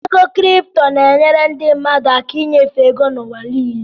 Ego kripto na-enyere ndị mmadụ aka ịnyefe ego n'ụwa niile.